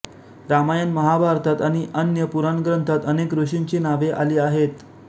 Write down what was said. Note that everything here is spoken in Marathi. रामायणमहाभारतात आणि अन्य पुराण ग्रंथांत अनेक ऋषींची नावे आली आहेत